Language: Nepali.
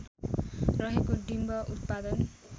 रहेको डिम्ब उत्पादन